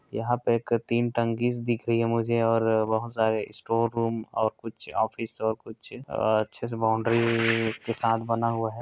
यहाँ पर एक तीन टंकी दिख रही है मुझे और बहुत सारे स्टोर रूम और कुछ ऑफिस और कुछ अच्छे से बाउंड्री के साथ बना हुआ है।